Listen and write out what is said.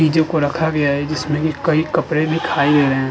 चीजों को रखा गया है जिसमें कई कपड़े भी है।